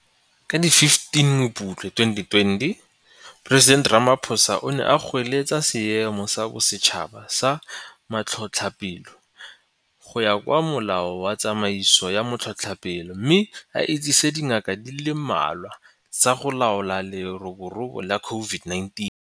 Ka di 15 Mopitlwe 2020, Moporesidente Ramaphosa [, o ne a goeletsa Seemo sa Bosetšhaba sa Matlhotlhapelo go ya ka Molao wa Tsamaiso ya Matlhotlhapelo mme a itsise dikgato di le mmalwa tsa go laola leroborobo la COVID-19.